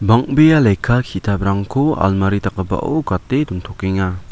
bang·bea lekka ki·taprangko almari dakgipao gate dontokenga.